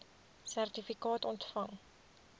sertifikaat ontvang